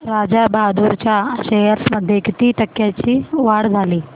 राजा बहादूर च्या शेअर्स मध्ये किती टक्क्यांची वाढ झाली